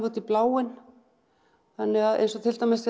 út í bláinn eins og til dæmis